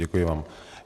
Děkuji vám.